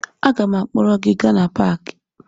Aga m akpọrọ gị gaa na paakị